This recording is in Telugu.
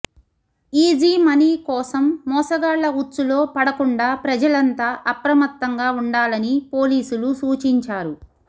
ఈజీమనీ కోసం మోసగాళ్ల ఉచ్చులో పడకుండా ప్రజలంతా అప్రమత్తంగా ఉండాలని పోలీసులు సూచించారు